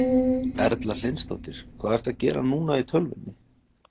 Erla Hlynsdóttir: Hvað ertu að gera núna í tölvunni?